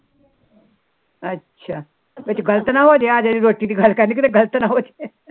ਅੱਛਾ ਵਿੱਚ ਗਲਤ ਨਾ ਹੋਜੇ ਵਿਚ ਰੋਟੀ ਦੀ ਗੱਲ ਕਰਨੀ ਵਿੱਚ ਗਲਤ ਨਾ ਹੋਜੇ